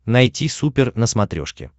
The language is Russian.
найти супер на смотрешке